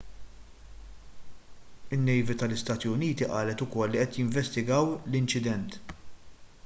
in-nejvi tal-istati uniti qalet ukoll li qed jinvestigaw l-inċident